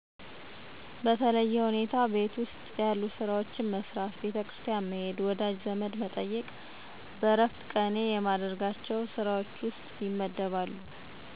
በተለየ ሁኔታ ቤት ውስጥ ያሉ ሥራዎችን መሥራት፣ ቤተከርስቲያን መሄድ፣ ወዳጅ ዘመድ መጠየቅ